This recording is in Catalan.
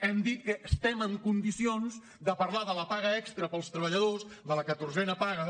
hem dit que estem en condicions de parlar de la paga extra per als treballadors de la catorzena paga